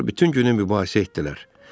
Onlar bütün günü mübahisə etdilər.